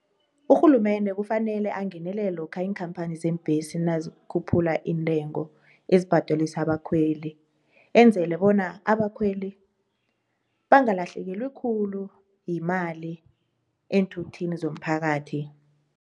Urhulumende kufanele angenelele lokha iinkhampani zeembesi nazikhuphula iintengo ezibhadelisa abakhweli enzele bona abakhweli bangalahlekelwi khulu yimali eenthuthini zomphakathi.